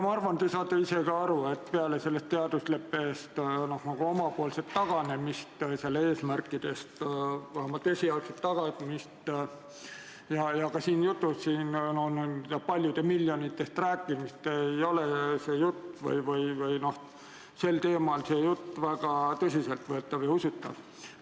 Ma arvan, et te saate ise ka aru, et peale selle teadusleppe eesmärkidest taganemist ei ole jutt paljudest miljonitest ja muust sellisest väga tõsiselt võetav ega usutav.